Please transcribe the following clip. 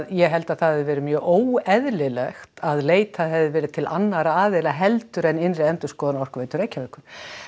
ég held að það hefði verið mjög óeðlilegt að leitað hefði verið til annarra aðila heldur en innri endurskoðun Orkuveitu Reykjavíkur